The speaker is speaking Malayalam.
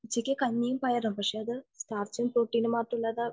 ഉച്ചക്ക് കഞ്ഞിയും പയറും പക്ഷെ അത് മാംസ്യവും പ്രോട്ടീനും മാത്രം ഉള്ളതാ